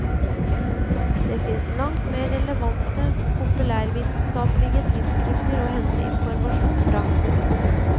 Det finnes langt mer relevante populærvitenskapelige tidsskrifter å hente informasjon fra.